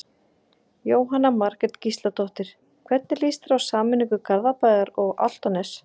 Jóhanna Margrét Gísladóttir: Hvernig lýst þér á sameiningu Garðabæjar og Álftanes?